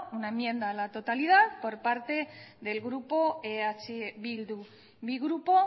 una enmienda a la totalidad por parte del grupo eh bildu mi grupo